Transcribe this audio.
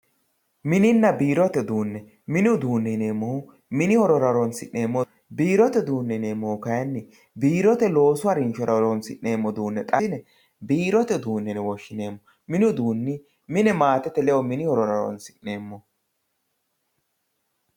Mininna biirote uduune, minni uduune yineemohu mini hororra horonsi'neemoho biirote uduunni kayini biirote ufuune yineemohu kayini biirote loosu harinshora horonsi'neemoho yine biirote uduune yine woshineemo mini uduunni mine maatete ledo mini horora horonsi'neemoho